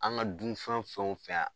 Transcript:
An ga dun fɛn fɛn wo fɛn